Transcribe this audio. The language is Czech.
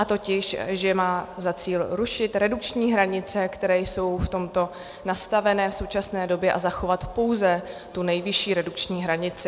A totiž, že má za cíl rušit redukční hranice, které jsou v tomto nastavené v současné době, a zachovat pouze tu nejvyšší redukční hranici.